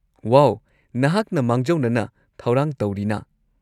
ꯋꯥꯎ, ꯅꯍꯥꯛꯅ ꯃꯥꯡꯖꯧꯅꯅ ꯊꯧꯔꯥꯡ ꯇꯧꯔꯤꯅ꯫